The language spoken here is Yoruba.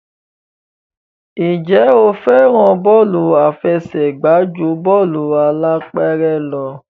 Ǹjẹ́ o fẹ́ràn bọ́ọ̀lù àfẹsẹ̀gbá ju bọ́ọ̀lù alápẹ̀rẹ̀ lọ?